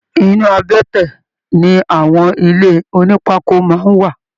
Inú àbẹ́tẹ̀ ní àwọn ilé ònípákó máa n wà.